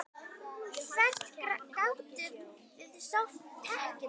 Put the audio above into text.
Hvert gátuð þið sótt tekjur?